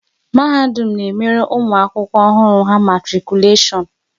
Mahadum na emere ụmụ akwụkwọ ọhụrụ ha matikuleshon